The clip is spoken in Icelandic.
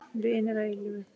Vinir að eilífu.